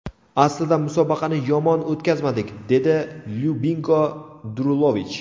Aslida musobaqani yomon o‘tkazmadik”, dedi Lyubinko Drulovich.